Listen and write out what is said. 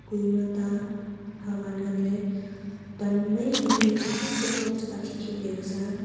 kue ema ta hahwan ngan ley pan mai mai chong chong ochak akhih khih lega sa.